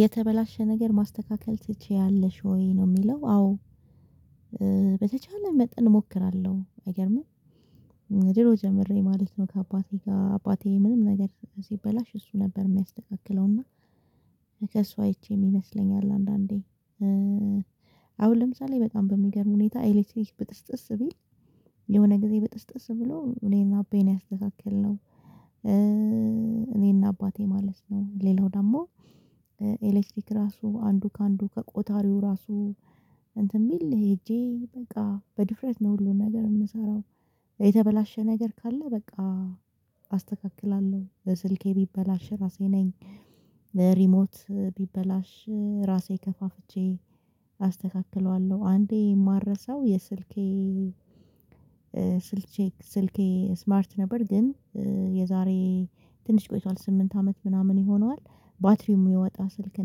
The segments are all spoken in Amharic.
የተበላሸ ነገር ማስተካከል ትችያለሽ ወይ ነው የሚለው? አዎ በተቻለኝ መጠን እሞክራለሁ። አይገርምም ድሮ ጀምሬ ማለት ነው። ከአባቴ ጋር አባቴ ምንም ነገር ሲበላሽ እሱ ነበር የሚያስተካክለውና ከእሱ አይቼ ይመስለኛል። አንዳንዴ አሁን ለምሳሌ በጣም በሚገርም ሁኔታ ኤሌክትሪክ ብጥስጥስ ቢል የሆነ ጊዜ ብጥስጥስ ብሎ እኔና አባየ ያስተካከልነው። እኔና አባቴ ማለት ነው ሌላው ደግሞ ኤሌክትሪክ ራሱ አንዱ ከአንዱ ከቆጣሪው ራሱ እንትን ቢል ሄጄ በቃ በድፍረት ነው ሁሉን ነገር የምሰራው። የተበላሸ ነገር ካለ በቃ አስተካክላለሁ። በስልኬ ቢበላሸ ራሴ ነኝ። ሪሞት ቢበላሽ ራሴ ከፋፍቼ አስተካክለዋለሁ። አንዴ የማልረሳው የስልኬ ስልቼ ስልኬ ስማርት ነበር ግን የዛሬ ትንሽ ቆይቷል ስምንት አመት ምናምን ይሆናል። ባትሪሙ የወጣ ስልክ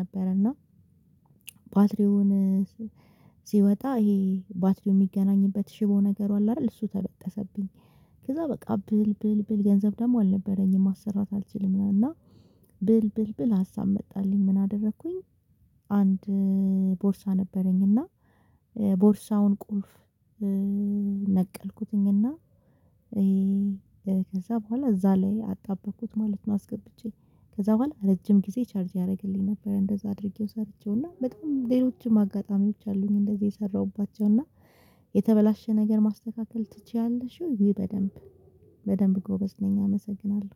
ነበረና። ባትሪውን ሲወጣ ይሄ ባትሪው የሚገናኝበት ሽቦ ነገር አይደል እሱ ተበጠሰብኝ ከዛ በቃ ብል ብል ብል ገንዘብ ደግሞ አልነበረኝም ማሰራት አልችልም። እና ብል ብል ብል ሀሳብ መጣልኝ ምን አደረኩኝ? አንድ ቦርሳ ነበረኝ እና ቦርሳውን ቁልፍ ነቀልኩትኝ እና ይሄ ከዛ በኋላ እዛ ላይ አጣበቅኩት ማለት ነው። አስገብቼ ከዛ በኋላ ረጅም ጊዜ ቻርጅ ያደርግልኝ ነበር። እንደዛ አድርጌው ሰርቼውና በጣም ሌሎችም አጋጣሚዎች አሉኝ እንደዚህ የሰራሁባቸውና። የተበላሸ ነገር ማስተካከል ትችያለሽ ወይ? ውይ በደንብ በደንብ ጎበዝ ነኝ። አመሰግናለሁ